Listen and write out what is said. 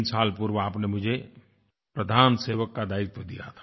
3 साल पूर्व आपने मुझे प्रधान सेवक का दायित्व दिया था